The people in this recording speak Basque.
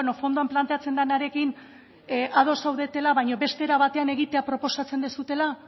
fondoan planteatzen denarekin ados zaudetela baina beste era batean egitea proposatzen duzuela